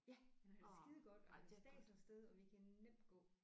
Ja han har det skidegodt og han stæser af sted og vi kan nemt gå